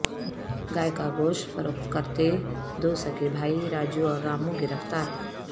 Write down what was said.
گائے کا گوشت فروخت کرتے دو سگے بھائی راجو اور رامو گرفتار